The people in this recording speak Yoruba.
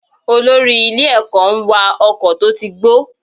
Olórí ilé ẹ̀kọ́ ń wa ọkọ̀ tó ti gbó.